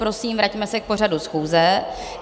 Prosím, vraťme se k pořadu schůze.